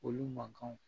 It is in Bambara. Olu man kanw